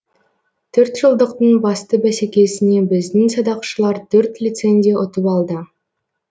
төрт жылдықтың басты бәсекесіне біздің садақшылар төрт лицензия ұтып алды